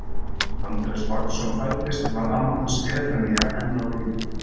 Þegar Andrés Vagnsson fæddist var amma hans Efemía enn á lífi.